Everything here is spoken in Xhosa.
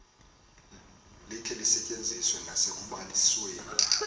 likhe lisetyenziswe nasekubalisweni